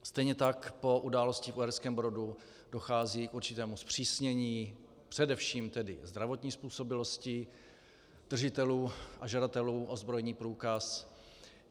Stejně tak po události v Uherském Brodu dochází k určitému zpřísnění především tedy zdravotní způsobilosti držitelů a žadatelů o zbrojní průkaz.